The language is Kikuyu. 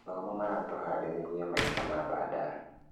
Mathomo maratũharĩria maica ma baadae